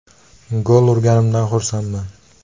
Gol urganimdan xursandman.